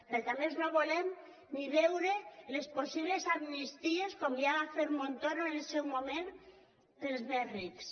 perquè a més no volem ni veure les possibles amnisties com ja va fer montoro en el seu moment per als més rics